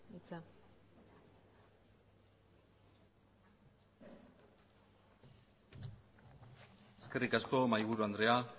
hitza eskerrik asko mahai buru andrea